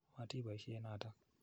Matipoisye notok.